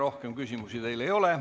Rohkem küsimusi teile ei ole.